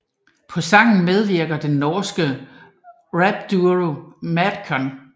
På sangen medvirker den norske rapduo Madcon